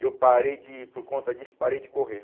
E eu parei de, por conta disso, parei de correr.